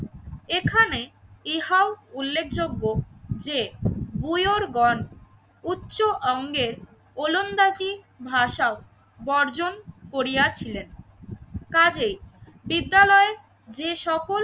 এখানে ইহাউ উল্লেখযোগ্য যে বুয়োর গন উচ্চ অঙ্গের ওলন্দাজি ভাষাও বর্জন করিয়া ছিলেন কাজেই বিদ্যালয়ে যে সকল